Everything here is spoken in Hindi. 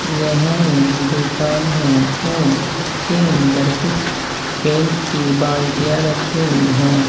यह एक दुकान है और इसके अंदर कुछ पेंट की बाल्टीया रखी हुई हैं।